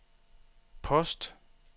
post